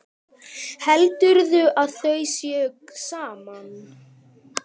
Heldurðu að þau séu saman?